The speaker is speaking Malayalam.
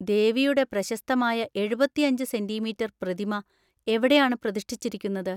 ദേവിയുടെ പ്രശസ്തമായ എഴുപത്തിഅഞ്ച് സെന്‍റീമീറ്റർ പ്രതിമ എവിടെയാണ് പ്രതിഷ്ഠിച്ചിരിക്കുന്നത്?